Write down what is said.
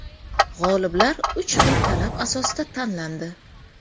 G‘oliblar uch xil talab asosida tanlandi.